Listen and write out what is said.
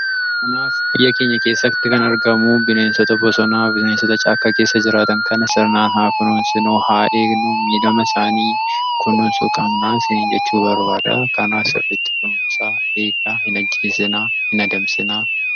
Kanaaf biyya keenya keessatti kan argamu bineensota bosonaa, bisineensota caakka keessa jiraatan kana sirnaan haa kunuunsinu! Haa eegnu! miidhama isaanii kunuunsu qabnaa isiniin jechuun barbaada. Kanaaf sirriitti kunuunsaa! Eegaa! Hin ajjeesinaa! Hin adamsiinaa!